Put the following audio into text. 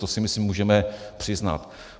To si myslím můžeme přiznat.